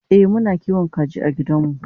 e Muna kiwon kaji a gidanmu